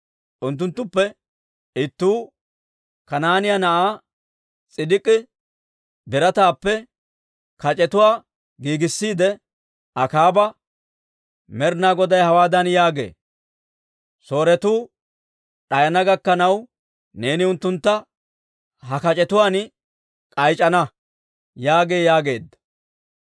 Unttunttuppe ittuu, Kanaa'ina na'ay S'idik'ii birataappe kac'etuwaa giigissiide, Akaaba, «Med'inaa Goday hawaadan yaagee; ‹Sooretuu d'ayana gakkanaw neeni unttuntta ha kac'etuwaan k'ayc'c'ana› yaagee» yaageedda.